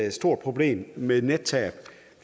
et stort problem med nettab